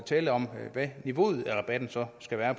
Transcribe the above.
tale om hvad niveauet rabatten så skal være